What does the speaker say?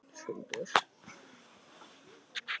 Snaran í sundur.